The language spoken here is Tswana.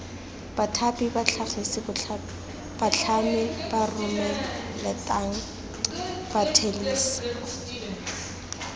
bathapi batlhagisi batlhami baromelateng bathelesi